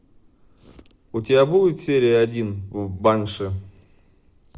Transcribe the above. у тебя будет серия один банши